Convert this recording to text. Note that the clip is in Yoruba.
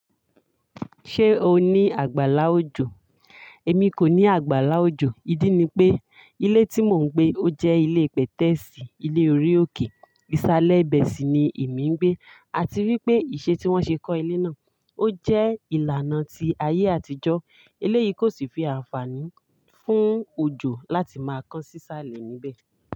Ṣé o ní àgbàlá òjò? Èmi kò ní àgbàlá òjò. Ídí ni pé ilé tí mò ń gbé ó jẹ́ ilé pètẹ́ẹ̀sì. Ilé orí òkè. Ìsàlẹ̀ ibẹ̀ sì ni èmi ń gbé. A ti rí pé ìṣe tí wọ́n ṣe kọ́ ilé náà ó jẹ́ ìlànà ti ayé àtijọ́. Eléyìí kò sì fi àǹfààní fún òjò láti máa kán sí sàlẹ̀ níbẹ̀